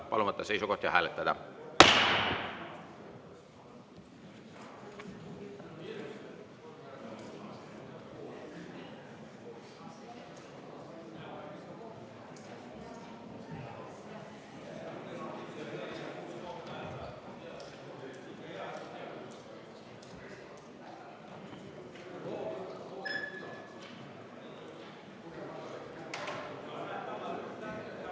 Palun võtta seisukoht ja hääletada!